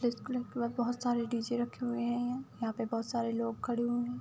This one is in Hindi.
के बाद बोहोत सारे डी.जे. रखे हुए हैं यहां। यहाँ पे बोहोत सारे लोग खड़े हुए हैं।